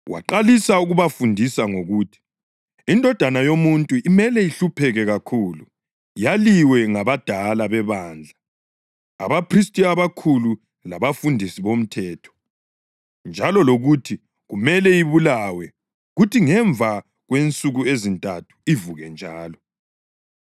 Waqalisa ukubafundisa ngokuthi iNdodana yoMuntu imele ihlupheke kakhulu, yaliwe ngabadala bebandla, abaphristi abakhulu labafundisi bomthetho, njalo lokuthi kumele ibulawe kuthi ngemva kwensuku ezintathu ivuke njalo.